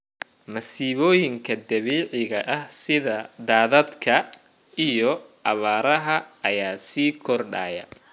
Masiibooyinka dabiiciga ah sida daadadka iyo abaaraha ayaa sii kordhayay.